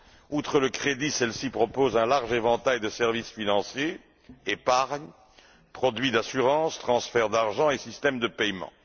Outre le crédit, celles ci proposent un large éventail de services financiers épargne, produits d'assurance, transferts d'argent et systèmes de paiement.